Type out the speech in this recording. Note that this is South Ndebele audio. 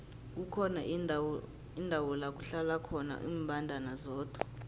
kukhona indawo lakuhlala khona imbandana zodwa